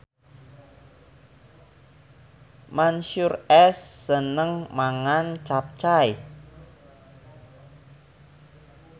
Mansyur S seneng mangan capcay